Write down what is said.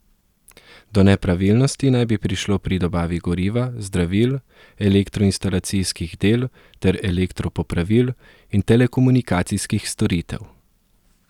Do nepravilnosti naj bi prišlo pri dobavi goriva, zdravil, elektroinstalacijskih del ter elektro popravil in telekomunikacijskih storitev.